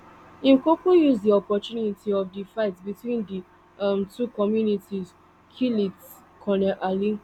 im kuku use di opportunity of di fight between di um two communities kill lt col ali